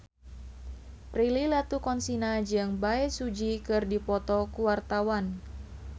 Prilly Latuconsina jeung Bae Su Ji keur dipoto ku wartawan